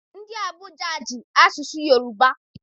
Ndị Abuja ji asụsụ Yoruba.